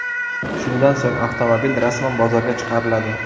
Shundan so‘ng avtomobil rasman bozorga chiqariladi.